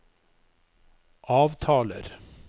avtaler